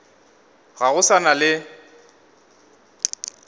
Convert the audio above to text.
ga go sa na le